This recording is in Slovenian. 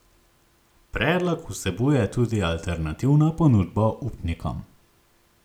Predlog vsebuje tudi alternativno ponudbo upnikom.